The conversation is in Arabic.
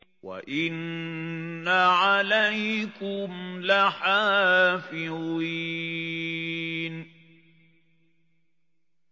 وَإِنَّ عَلَيْكُمْ لَحَافِظِينَ